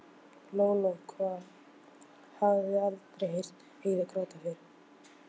Lóa-Lóa hafði aldrei heyrt Heiðu gráta fyrr.